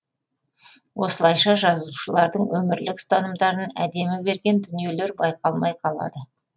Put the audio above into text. осылайша жазушылардың өмірлік ұстанымдарын әдемі берген дүниелер байқалмай қалады